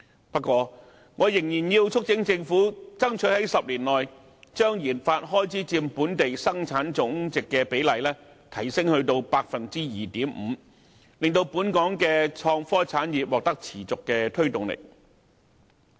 不過，我仍然要促請政府爭取在10年內，將研發開支佔本地生產總值的比例提升至 2.5%， 令本港的創科產業獲得持續推動力。